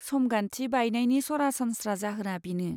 समगान्थि बायनायनि सरासनस्रा जाहोना बेनो।